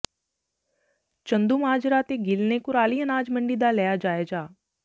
ਚੰਦੂਮਾਜਰਾ ਤੇ ਗਿੱਲ ਨੇ ਕੁਰਾਲੀ ਅਨਾਜ ਮੰਡੀ ਦਾ ਲਿਆ ਜਾਇਜ਼ਾ